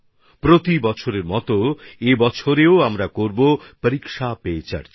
প্রতি বছরের মতো এবছরও আমরা সবাই করবো পরীক্ষা পে চর্চা